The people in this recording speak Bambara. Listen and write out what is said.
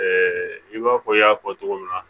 i b'a fɔ i y'a fɔ cogo min na